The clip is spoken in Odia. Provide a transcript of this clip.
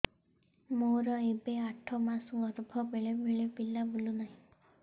ମୋର ଏବେ ଆଠ ମାସ ଗର୍ଭ ବେଳେ ବେଳେ ପିଲା ବୁଲୁ ନାହିଁ